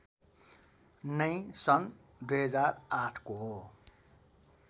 नै सन् २००८ को